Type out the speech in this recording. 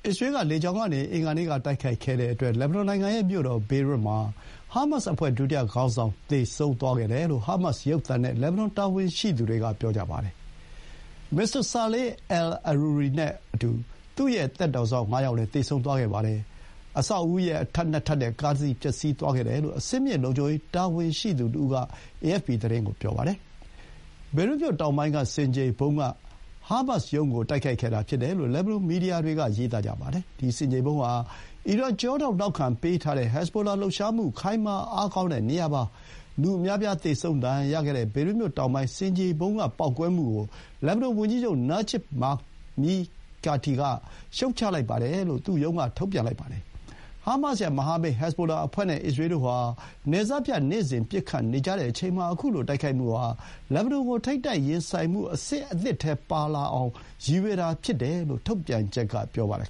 စ္စရေးက လေကြောင်းကနေ အင်္ဂါနေ့က တိုက်ခိုက်ခဲ့တဲ့အတွက် လက်ဘနွန်နိုင်ငံရဲ့မြို့တော် ဘေရွတ်မှာ ဟာမတ်စ်အဖွဲ့ ဒုတိယ ခေါင်းဆောင် သေဆုံးသွားခဲ့တယ်လို့ ဟာမတ်စ်ရုပ်သံနဲ့ လက်ဘနွန်တာဝန်ရှိသူတွေက ပြောပါတယ်။ မစ္စတာ ဆာလေးအယ်လ် အရူရီ Saleh al-Aruri နဲ့အတူ သူ့ရဲ့ သက်တော်စောင့်ငါးယောက်လည်း သေဆုံးသွားခဲ့ပါတယ်။ အဆောက်အဦရဲ့အထပ် ၂ ထပ်နဲ့ ကားတစီးပျက်စီးသွားခဲ့တယ်လို့ အဆင်မြင့် လုံခြုံရေးတာဝန်ရှိသူတဦးက အေအက်ဖ်ပီသတင်းကို ပြောပါတယ်။ ဘေရွတ်မြို့တောင်ပိုင်း ဆင်ခြေဖုံးက ဟာမတ်စ်ရုံးကို တိုက်ခိုက်ခဲ့တာဖြစ်တယ်လို့ လက်ဘနွန် မီဒီယာတွေက ဆိုပါတယ်။ ဒီဆင်ခြေဖုံးဟာ အီရန် ကျောထောက်နောက်ခံပေးထားတဲ့ ဟက်ဇ်ဘိုလာလှုပ်ရှားမှု ခိုင်မာအားကောင်းတဲ့နေရာ ဖြစ်ပါတယ်။ လူအများအပြား သေဆုံး ဒဏ်ရာရခဲ့တဲ့ ဘေရွတ်မြို့တောင်ပိုင်း ဆင်ခြေဖုံးကပေါက်ကွဲမှုကို လက်ဘနွန်ဝန်ကြီးချုပ် နာဂျစ်ဘ် မီကာတီက (Najib Mikati) ရှုတ်ချလိုက်တယ်လို့ သူ့ရုံးက ထုတ်ပြန်ပါတယ်။ ဟားမတ်စ်ရဲ့ မဟာမိတ်ဟက်ဇ်ဘိုလာအဖွဲ့ နဲ့ အစ္စရေးတို့ဟာ နယ်စပ်ဖြတ်ပြီး နေ့စဥ်ပစ်ခတ်နေကြချိန်မှာ ခုလို တိုက်ခိုက်မှုဟာ လက်ဘနွန်ကို ထိပ်တိုက်ရင်ဆိုင်မှုအဆင့်သစ်ထဲပါလာအောင် ရည်ရွယ်တာဖြစ်တယ်လို့ ထုတ်ပြန်ချက်က ဆိုပါတယ်